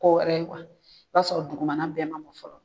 Ko wɛrɛ ye kuwa, i b'a sɔrɔ dugumana bɛn mɔn fɔlɔ.